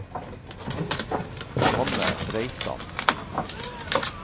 Johanne Reitan